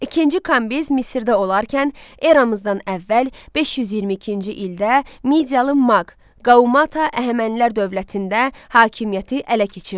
İkinci Kambiz Misirdə olarkən eramızdan əvvəl 522-ci ildə Midiyalı Maq, Qaumata Əhəmənilər dövlətində hakimiyyəti ələ keçirdi.